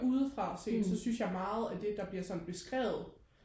udefra set så synes jeg meget af det der bliver sådan beskrevet